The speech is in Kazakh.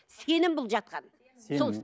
сенім бұл жатқан сенім иә